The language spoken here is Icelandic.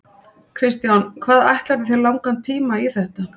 Kristján: Hvað ætlarðu þér langan tíma í þetta?